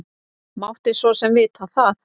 Mátti svo sem vita það.